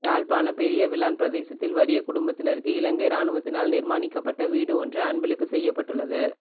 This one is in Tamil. யாழ்ப்பாண பெரியவிளான் பிரதேசத்தில் வரிய குடும்பத்தினருக்கு இலங்கை இராணுவத்தினால் நிர்மாணிக்கப்பட்ட வீடு ஒன்று அன்பளிப்பு செய்யப்பட்டுள்ளது